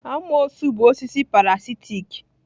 Amoosu bụ osisi parasitic